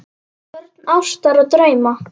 Börn ástar og drauma